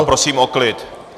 A prosím o klid!